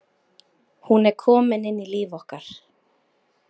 Hún er komin inn í líf okkar.